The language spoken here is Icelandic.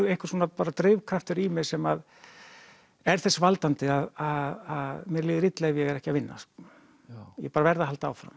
einhver svona bara drifkraftur í mér sem er þess valdandi að mér líður illa ef ég er ekki að vinna ég bara verð að halda áfram